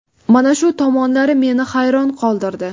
Mana shu tomonlari meni hayron qoldirdi.